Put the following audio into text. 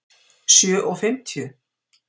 sjö og fimmtíu?